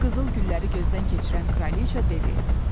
Qızıl gülləri gözdən keçirən kraliça dedi: